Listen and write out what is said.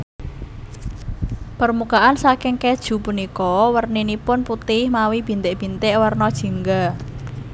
Permukaan saking kèju punika werninipun putih mawi bintik bintik werna jingga